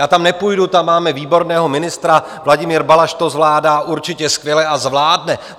Já tam nepůjdu, tam máme výborného ministra, Vladimír Balaš to zvládá určitě skvěle a zvládne.